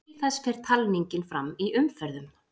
Til þess fer talningin fram í umferðum.